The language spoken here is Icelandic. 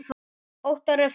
Óttar er farinn.